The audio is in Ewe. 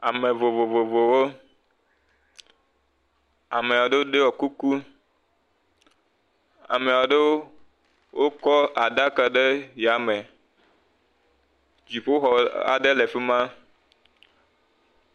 Ame vovovovowo, amea ɖowo ɖiɔ kuku, amea ɖowo o kɔ aɖaka ɖe yame, dziƒo xɔ aɖe le fima.